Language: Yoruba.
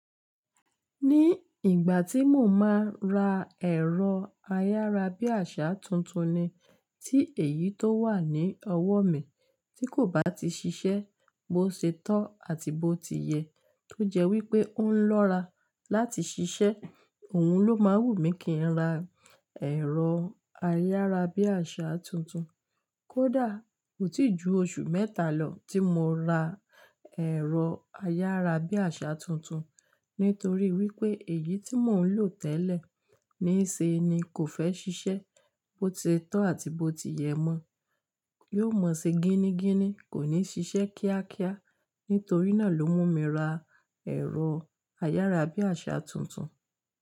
Ní ìgbà tí mo máa ra ẹ̀rọ ayárabíàṣá tuntun ni, tí èyí tó wà ní ọwọ́ mi tí kò bá ti ṣiṣẹ́, bó ṣe tọ́ àti bó ti yẹ tó jẹ́ wí pé ó ń lọ́ra láti ṣiṣẹ́, òun ló máa wù mí kí n ra ẹ̀rọ ayárabíàṣá tuntun. Kódà, kò tí ju oṣù mẹ́ta lọ tí mo ra ẹ̀rọ ayárabíàṣá tuntun, nítorí wí pé èyí tí mò ń lò tẹ́lẹ̀ níṣe ni kò fẹ́ ṣiṣẹ́, bó ti tọ́ àti bó ti yẹ mọ, yóò mọ sí gíní gíní, kò ní ṣiṣẹ́ kíákíá. Nítorí náà ló mú mi ra ẹ̀rọ ayárabíàṣá tuntun.